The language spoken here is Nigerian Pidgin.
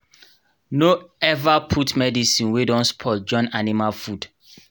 no ever put medicine wey don spoil join animal food